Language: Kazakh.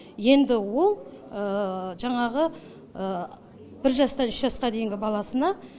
енді ол жаңағы бір жастан үш жасқа дейінгі баласына